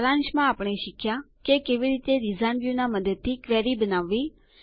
સારાંશમાં આપણે શીખ્યાં કે કેવી રીતે ડીઝાઇન વ્યુંનાં મદદથી ક્વેરી બનાવવી